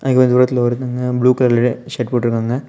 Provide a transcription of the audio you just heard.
அங்க கொஞ்சம் தூரத்துல ஒருத்தவங்க ப்ளூ கலர் ஷர்ட் போட்டுட்டுருக்காங்க.